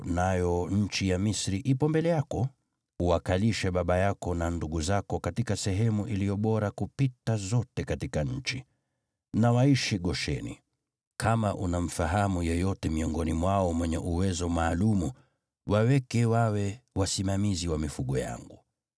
nayo nchi ya Misri ipo mbele yako, uwakalishe baba yako na ndugu zako katika sehemu iliyo bora kupita zote katika nchi. Na waishi Gosheni. Kama unamfahamu yeyote miongoni mwao mwenye uwezo maalum, waweke wawe wasimamizi wa mifugo yangu.”